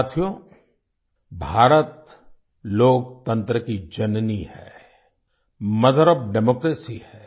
साथियो भारत लोकतंत्र की जननी है मोथर ओएफ डेमोक्रेसी है